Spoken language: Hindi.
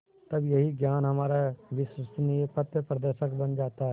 तब यही ज्ञान हमारा विश्वसनीय पथप्रदर्शक बन जाता है